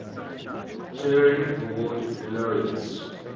turing award laureates